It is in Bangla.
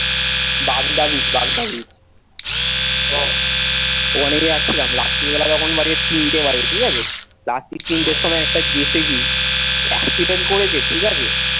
বাগদা beach বাগদা beach ও, ওখানে যাচ্ছিলাম রাত্তির বেলা তখন বাজে তিনটে বাজে ঠিক আছে রাত্তির তিনটের সময় একটা জেসিবি accident করেছে ঠিক আছে,